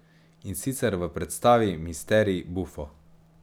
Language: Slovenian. In sicer v predstavi Misterij buffo.